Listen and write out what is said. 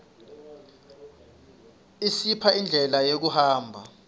isipha indlela yokuhamba